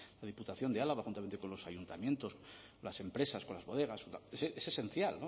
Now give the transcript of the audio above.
la diputación de álava juntamente con los ayuntamientos las empresas con las bodegas es esencial